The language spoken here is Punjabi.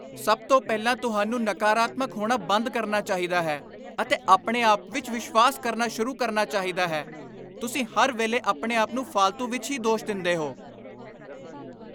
ਸਭ ਤੋਂ ਪਹਿਲਾਂ ਤੁਹਾਨੂੰ ਨਕਾਰਾਤਮਕ ਹੋਣਾ ਬੰਦ ਕਰਨਾ ਚਾਹੀਦਾ ਹੈ ਅਤੇ ਆਪਣੇ ਆਪ ਵਿੱਚ ਵਿਸ਼ਵਾਸ ਕਰਨਾ ਸ਼ੁਰੂ ਕਰਨਾ ਚਾਹੀਦਾ ਹੈ। ਤੁਸੀਂ ਹਰ ਵੇਲੇ ਆਪਣੇ ਆਪ ਨੂੰ ਫਾਲਤੂ ਵਿੱਚ ਹੀ ਦੋਸ਼ ਦਿੰਦੇ ਹੋ।